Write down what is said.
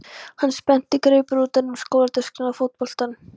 Hann spennti greipar utan um skólatöskuna og fótboltann.